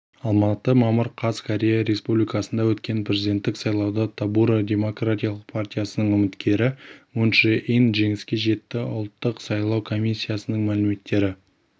алматы мамыр қаз корея республикасында өткен президенттік сайлауда тобуро демократиялық партиясының үміткері мун чжэ ин жеңіске жетті ұлттық сайлау комиссиясының мәліметтері